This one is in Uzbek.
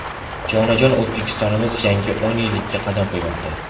Jonajon O‘zbekistonimiz yangi o‘n yillikka qadam qo‘ymoqda.